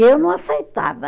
Eu não aceitava.